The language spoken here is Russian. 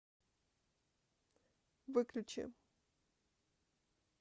выключи